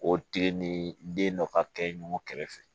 O tile ni den dɔ ka kɛ ɲɔgɔn kɛrɛfɛ